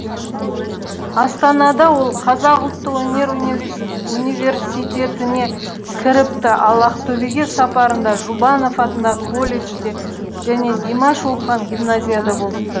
астанада ол қазақ ұлттық өнер университетіне кіріпті ал ақтөбеге сапарында жұбанов атындағы колледжде және димаш оқыған гимназияда болыпты